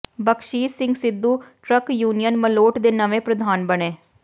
ਬਖ਼ਸੀਸ਼ Singh Sidhu truck union Malout ਦੇ ਨਵੇਂ ਪ੍ਰਧਾਨ ਬਣੇ